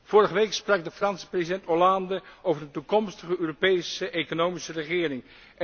Vorige week sprak de Franse president Hollande over een toekomstige Europese economische regering.